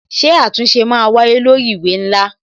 Ṣé àtúnṣe máa wáyé lórí ìwé ńlá?